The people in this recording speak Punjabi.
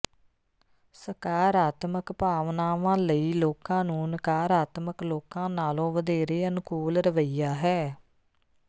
ਸਕਾਰਾਤਮਕ ਭਾਵਨਾਵਾਂ ਲਈ ਲੋਕਾਂ ਨੂੰ ਨਕਾਰਾਤਮਕ ਲੋਕਾਂ ਨਾਲੋਂ ਵਧੇਰੇ ਅਨੁਕੂਲ ਰਵੱਈਆ ਹੈ